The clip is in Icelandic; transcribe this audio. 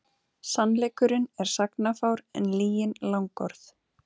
Sannleikurinn er sagnafár en lygin langorð.